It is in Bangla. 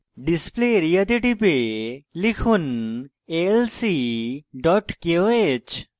display area তে type লিখুন alc koh